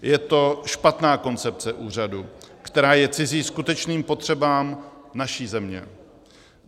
Je to špatná koncepce úřadu, která je cizí skutečným potřebám naší země.